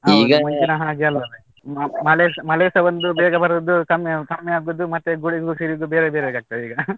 ಮ~ ಮಳೆಸಾ ಮಳೆಸಾ ಒಂದು ಬೇಗ ಬರುದು, ಕಮ್ಮಿ ಕಮ್ಮಿ ಆಗುದು ಮತ್ತೆ ಗುಡುಗು ಸಿಡಿಲು ಬೇರೆ ಬೇರೆ ಆಗ್ತದೀಗ.